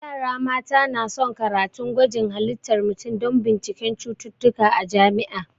Yara mata na son karatun gwajin halittar mutum da binciken cututtuka a jami'a